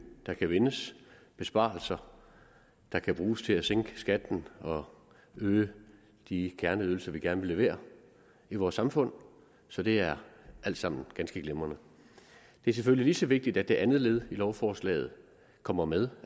der kan vindes besparelser der kan bruges til at sænke skatten og øge de kerneydelser vi gerne vil levere i vores samfund så det er alt sammen ganske glimrende det er selvfølgelig lige så vigtigt at det andet led i lovforslaget kommer med